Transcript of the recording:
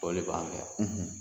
O le b'an fɛn yan